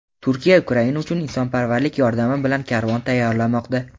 Turkiya Ukraina uchun insonparvarlik yordami bilan karvon tayyorlamoqda.